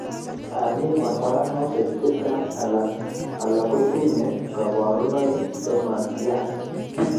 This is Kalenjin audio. Mi kwarkwaranosiek chechang' alak kotinye kaborunoik chematian